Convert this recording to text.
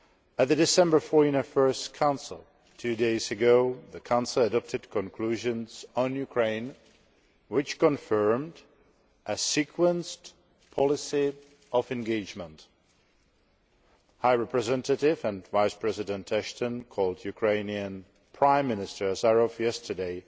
At the December Foreign Affairs Council two days ago, the Council adopted conclusions on Ukraine which confirmed a sequenced policy of engagement. High Representative and Vice President Ashton called Ukrainian Prime Minister Azarov yesterday